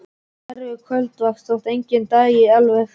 Erfið kvöldvakt, þótt enginn dæi alveg.